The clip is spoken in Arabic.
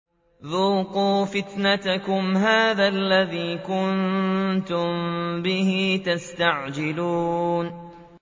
ذُوقُوا فِتْنَتَكُمْ هَٰذَا الَّذِي كُنتُم بِهِ تَسْتَعْجِلُونَ